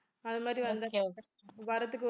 அது மாதிரி வர்றத்துக்கு